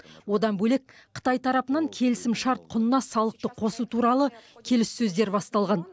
одан бөлек қытай тарапынан келісімшарт құнына салықты қосу туралы келіссөздер басталған